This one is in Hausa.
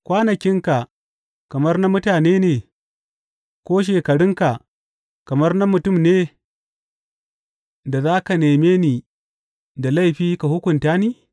Kwanakinka kamar na mutane ne, ko shekarunka kamar na mutane ne da za ka neme ni da laifi ka hukunta ni?